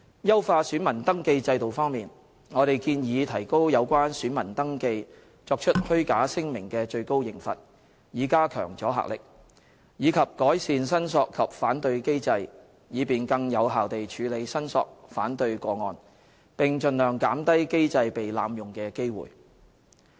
優化選民登記制度方面，我們建議提高有關選民登記作出虛假聲明的最高刑罰，以加強阻嚇力，以及改善申索及反對機制，以便更有效地處理申索/反對個案，並盡量減低機制被濫用的機會。